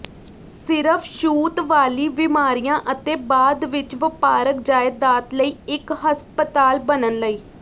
ਸਿਰਫ ਛੂਤ ਵਾਲੀ ਬੀਮਾਰੀਆਂ ਅਤੇ ਬਾਅਦ ਵਿੱਚ ਵਪਾਰਕ ਜਾਇਦਾਦ ਲਈ ਇੱਕ ਹਸਪਤਾਲ ਬਣਨ ਲਈ